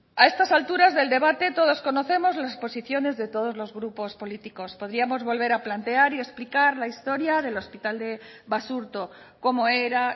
a estas alturas del debate todos conocemos las posiciones de todos los grupos políticos podríamos volver a plantear y explicar la historia del hospital de basurto cómo era